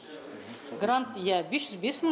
грант иә бес жүз бес мың